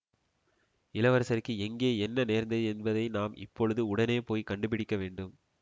இளவரசருக்கு எங்கே என்ன நேர்ந்தது என்பதை நாம் இப்பொழுது உடனே போய் கண்டுபிடிக்க வேண்டும்